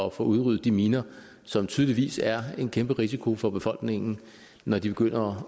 at få udryddet de miner som tydeligvis er en kæmpe risiko for befolkningen når de begynder